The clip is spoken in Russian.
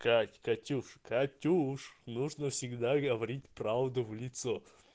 кать катюш катюш нужно всегда говорить правду в лицо